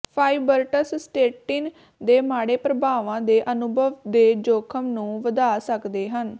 fibrates statin ਦੇ ਮਾੜੇ ਪ੍ਰਭਾਵਾਂ ਦੇ ਅਨੁਭਵ ਦੇ ਜੋਖਮ ਨੂੰ ਵਧਾ ਸਕਦੇ ਹਨ